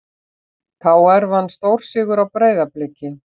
KR vann stórsigur á Breiðabliki